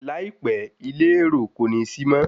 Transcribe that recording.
Láìpẹ́, ilé èro kò ní sí mọ́.